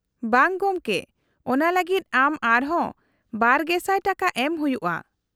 -ᱵᱟᱝ ᱜᱚᱢᱠᱮ ᱾ ᱚᱱᱟ ᱞᱟᱹᱜᱤᱫ ᱟᱢ ᱟᱨᱦᱚᱸ ᱒,᱐᱐᱐/ᱼ ᱴᱟᱠᱟ ᱮᱢ ᱦᱩᱭᱩᱜᱼᱟ ᱾